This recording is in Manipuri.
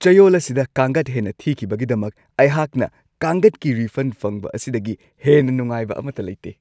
ꯆꯌꯣꯜ ꯑꯁꯤꯗ ꯀꯥꯡꯒꯠ ꯍꯦꯟꯅ ꯊꯤꯈꯤꯕꯒꯤꯗꯃꯛ ꯑꯩꯍꯥꯛꯅ ꯀꯥꯡꯒꯠꯀꯤ ꯔꯤꯐꯟ ꯐꯪꯕ ꯑꯁꯤꯗꯒꯤ ꯍꯦꯟꯅ ꯅꯨꯡꯉꯥꯏꯕ ꯑꯃꯠꯇ ꯂꯩꯇꯦ ꯫